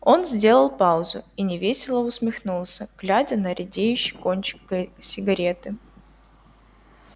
он сделал паузу и невесело усмехнулся глядя на редеющий кончик сигареты